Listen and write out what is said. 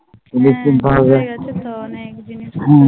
হ্যাঁ বড়ো হয়ে গেছে তো অনেক জিনিসপত্র